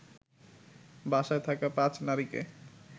বাসায় থাকা ৫ নারীকে